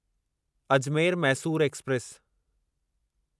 Ajmer Mysore express